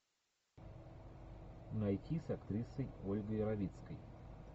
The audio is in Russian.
найти с актрисой ольгой равицкой